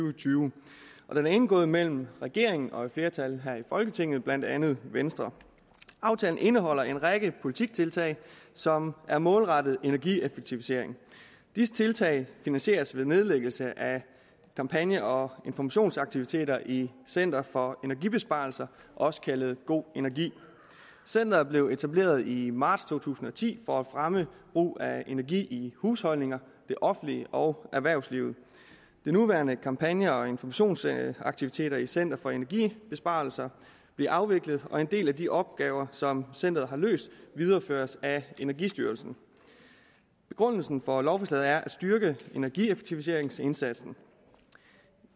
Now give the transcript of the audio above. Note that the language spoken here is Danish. og tyve den er indgået mellem regeringen og et flertal her i folketinget blandt andet venstre aftalen indeholder en række politiktiltag som er målrettet energieffektivisering disse tiltag finansieres ved nedlæggelse af kampagne og informationsaktiviteter i center for energibesparelser også kaldet go energi centeret blev etableret i marts to tusind og ti for at fremme brug af energi i husholdninger det offentlige og erhvervslivet de nuværende kampagne og informationsaktiviteter i center for energibesparelser bliver afviklet og en del af de opgaver som centeret har løst videreføres af energistyrelsen begrundelsen for lovforslaget er at styrke energieffektiviseringsindsatsen